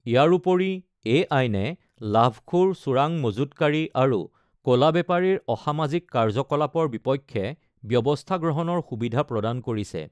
ইয়াৰোপৰি এই আইনে লাভখোৰ চোৰাং মজুতকাৰী আৰু ক'লা বেপাৰীৰ অসামাজিক কাৰ্যকলাপৰ বিপক্ষে ব্যৱস্থা গ্ৰহণৰ সুবিধা প্ৰদান কৰিছে।